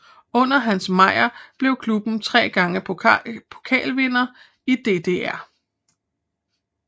Under Hans Meyer blev klubben tre gange pokalvinder i DDR